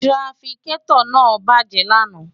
tirafikẹ́tọ̀ náà bàjẹ́ lánàá